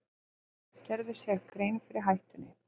Gerðu sér grein fyrir hættunni